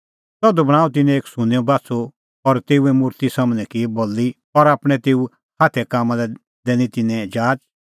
तधू बणांअ तिन्नैं एक सुन्नेंओ बाछ़ू और तेऊए मुर्ति सम्हनै की बल़ी और आपणैं तेऊ हाथे कामां लै दैनी तिन्नैं जाचा